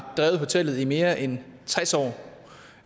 drevet hotellet i mere end tres år